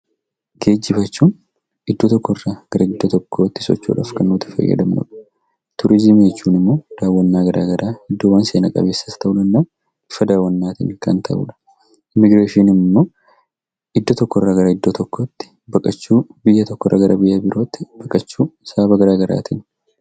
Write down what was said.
Geejjiba jechuun iddoo tokkorraa gara iddoo tokkootti socho'uudhaaf kan nuti itti fayyadamnudha. Turizimii jechuun immoo daawwannaa garaa garaa iddoowwan seena qabeessas ta'uu danda'a, bakka daawwannaatiin kan ta'udha. Immigireeshiniin immoo iddoo tokkorraa gara iddoo tokkootti baqachuu, biyya tokkorraa gara biyya birootti baqachuu sababa garaa garaatiin.